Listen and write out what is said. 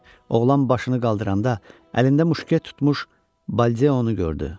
Oğlan başını qaldıranda əlində muşket tutmuş Baldeonu gördü.